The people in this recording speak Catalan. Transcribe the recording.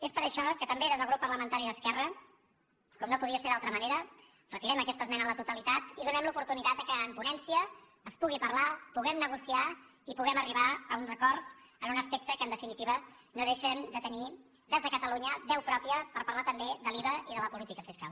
és per això que també des del grup parlamentari d’esquerra com no podia ser d’altra manera retirem aquesta esmena a la totalitat i donem l’oportunitat perquè en ponència es pugui parlar puguem negociar i puguem arribar a uns acords en un aspecte que en definitiva no deixen de tenir des de catalunya veu pròpia per parlar també de l’iva i de la política fiscal